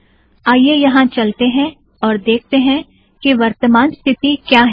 आईये यहाँ चलतें हैं और देखते हैं कि वर्तामान स्थिती क्या है